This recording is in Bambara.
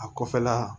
A kɔfɛla